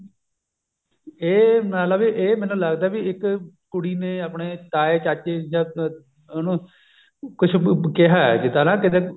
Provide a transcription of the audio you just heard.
ਇਹ ਮਤਲਬ ਵੀ ਇਹ ਮੈਨੂੰ ਲੱਗਦਾ ਵੀ ਇੱਕ ਕੁੜੀ ਨੇ ਆਪਣੇ ਤਾਏ ਚਾਚੇ ਜਾਂ ਉਹਨੂੰ ਕੁੱਝ ਕਿਹਾ ਜਿੱਦਾਂ ਨਾ ਕੀਤੇ